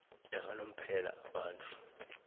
yakanomphela abantu